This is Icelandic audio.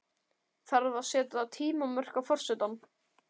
Þarf að setja tímamörk á forsetann?